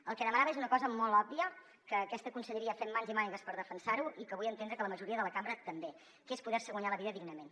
el que demanaven és una cosa molt òbvia que aquesta conselleria fem mans i mànigues per defensar ho i que vull entendre que la majoria de la cambra també que és poder se guanyar la vida dignament